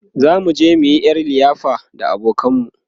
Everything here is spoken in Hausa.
zamu je muyi ƴar liyafa da abokanan mu